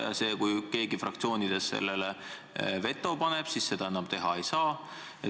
Ja kui keegi fraktsioonides sellele veto paneb, siis seda enam teha ei saa.